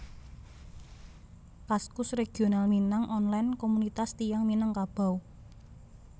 Kaskus Regional Minang Online Komunitas tiyang Minangkabau